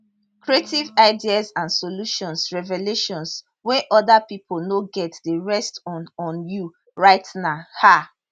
creative ideas and solutions revelations wey oda pipo no get dey rest on on you right now um